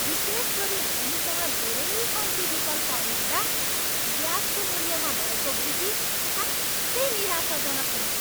विशेष गरी हामीसँग धेरै कम्ति विकल्पहरू हुँदा ग्याँसको मूल्यमा भएको वृद्धि साँच्चै निराशाजनक हुन्छ।